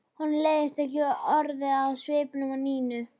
Honum leist ekki orðið á svipinn á Nínu.